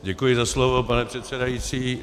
Děkuji za slovo, pane předsedající.